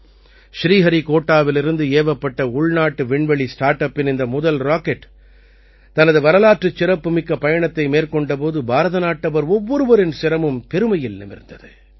ஸ்ரீஹரிக்கோட்டாவிலிருந்து ஏவப்பட்ட உள்நாட்டு விண்வெளி ஸ்டார்ட் அப்பின் இந்த முதல் ராக்கெட் தனது வரலாற்றுச் சிறப்புமிக்க பயணத்தை மேற்கொண்ட போது பாரதநாட்டவர் ஒவ்வொருவரின் சிரமும் பெருமையில் நிமிர்ந்தது